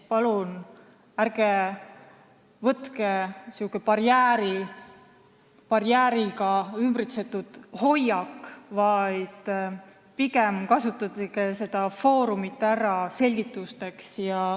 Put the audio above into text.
Palun ärge kasutage sellist hoiakut, nagu te oleksite barjääriga ümbritsetud, vaid pigem kasutage seda foorumit selgitusteks.